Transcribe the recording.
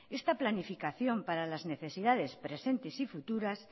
esta planificación para las necesidades presentes y futuras